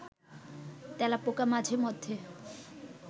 তেলাপোকা মাঝে মধ্যে